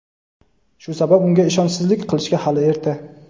shu sabab unga ishonchsizlik qilishga hali erta.